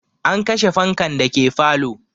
An kashe fankan dake falo